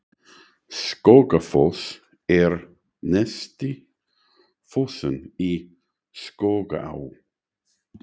Skógafoss er neðsti fossinn í Skógaá.